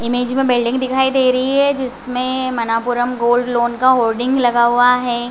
Image में building दिखाई दे रही है जिसमे मनापुरम गोल्ड लोन का होडिंग लगा हुआ है।